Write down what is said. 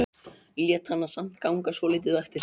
Lét hana samt ganga svolítið á eftir sér.